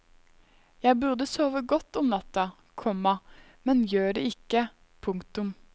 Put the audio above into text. Jeg burde sove godt om natta, komma men gjør det ikke. punktum